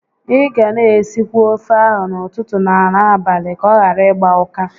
Ị ga na esikwa ofe ahụ n'ụtụtụ na n'abalị ka ọ ghara ịgba ụka